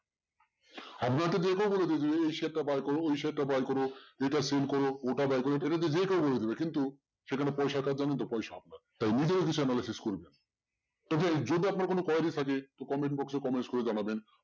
আপনাকে যে কেউ বলে দেবে এই share টা buy করো ওই share টা buy করো। এটা sell করো ওটা buy করো এটাতে যে কেউ বলে দেবে কিন্তু সেখানে পয়সা আকার জানো তো পয়সা তাই নিজের তো friend যদি আপনার কোনো quarry থাকে তো comments box এ comments করে জানাবেন।